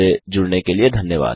हमसे जुड़ने के लिए धन्यवाद